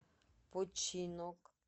починок